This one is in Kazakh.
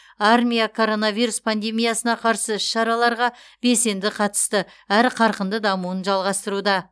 армия коронавирус пандемиясына қарсы іс шараларға белсенді қатысты әрі қарқынды дамуын жалғастыруда